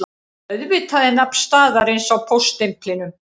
Auðvitað er nafn staðarins á póststimplinum